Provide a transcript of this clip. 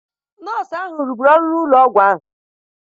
Nọọsụ ahụ rụburu ọrụ n'ụlọ ọgwụ ahụ.